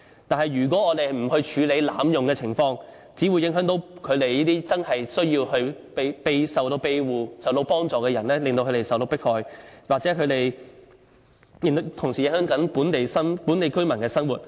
但是，如果我們不處理濫用的情況，只會影響這些真正需要庇護，需要幫助的人受到迫害，亦同時影響本地居民的生活。